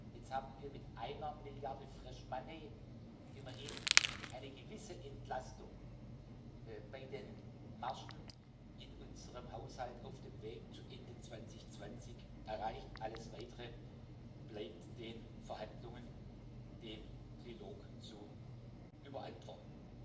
Jetzt haben wir mit einer Milliarde fresh money immerhin eine gewisse Entlastung bei den Margen in unserem Haushalt auf dem Weg zu Ende 2020 erreicht, alles Weitere bleibt den Verhandlungen, dem Trilog zu überantworten.